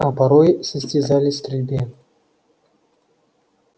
а порой состязались в стрельбе